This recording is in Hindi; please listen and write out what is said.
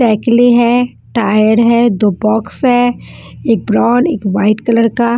साइकिले है टायर है दो बॉक्स है एक ब्राउन एक वाइट कलर का।